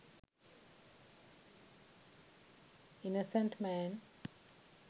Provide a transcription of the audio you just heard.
innocent man